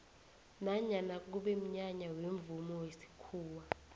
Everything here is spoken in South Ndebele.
nanyana kube mnyanya wemvumo wesikhuwa